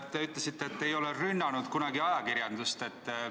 Te ütlesite, et te ei ole kunagi ajakirjandust rünnanud.